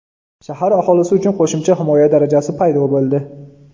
Shahar aholisi uchun qo‘shimcha himoya darajasi paydo bo‘ldi.